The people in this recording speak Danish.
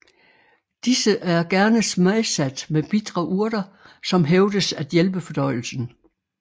Disse er gerne smagsat med bitre urter som hævdes at hjælpe fordøjelsen